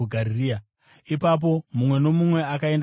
Ipapo mumwe nomumwe akaenda kumba kwake.